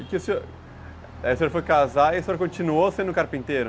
Aí o senhor foi casar e continuou sendo carpinteiro?